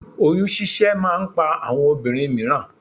Oyún ṣíṣẹ́ máa ń pa àwọn obìnrin mìíràn